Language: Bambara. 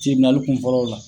kun fɔlɔw la.